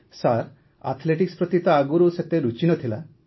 sir athletics ପ୍ରତି ତ ଆଗରୁ ସେତେ ରୁଚି ନ ଥିଲା